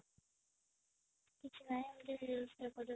କିଛି ନାହିଁ ଏମିତି reels ଦେଖୁ ଦେଖୁ